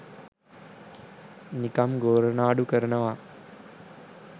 නිකම් ගෝරනාඩු කරනවා